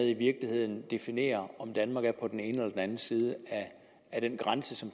i virkeligheden definerer om danmark er på den ene eller den anden side af den grænse som